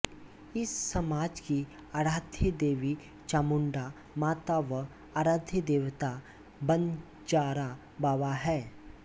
इस समाज की आराध्य देवी चामुण्डा माता व आराध्य देवता बन्जारा बाबा है